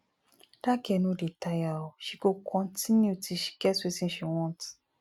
dat girl no dey tire oo she go continue till she get wetin she want